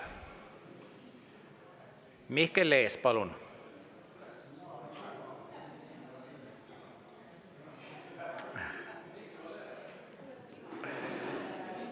Mihkel Lees, palun!